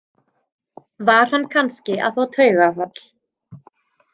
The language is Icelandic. Var hann kannski að fá taugaáfall?